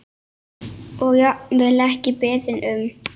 Og jafnvel ekki beðinn um.